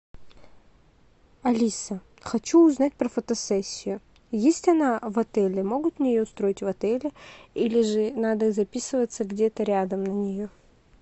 алиса хочу узнать про фотосессию есть она в отеле могут мне ее устроить в отеле или же надо записываться где то рядом на нее